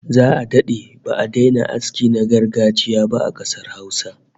Za'a dade ba'a daina aski na gargajiya ba a kasar Hausa